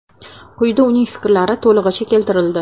Quyida uning fikrlari to‘lig‘icha keltirildi.